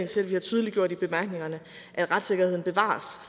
til at vi har tydeliggjort i bemærkningerne at retssikkerheden bevares